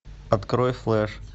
открой флеш